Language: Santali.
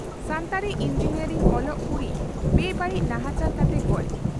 ᱥᱟᱱᱛᱟᱲᱤ ᱤᱸᱡᱤᱱᱤᱭᱚᱨᱤᱝ ᱚᱞᱚᱜ ᱠᱩᱲᱤ ᱵᱮᱼᱵᱟᱹᱲᱤᱡ ᱱᱟᱦᱟᱪᱟᱨ ᱠᱟᱛᱮ ᱜᱚᱡ